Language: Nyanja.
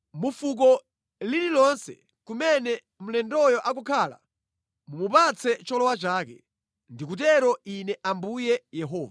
Mu fuko lililonse kumene mlendoyo akukhala mumupatse cholowa chake.” Ndikutero Ine Ambuye Yehova.